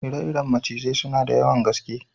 Ire-iren macizai suna da yawan gaske.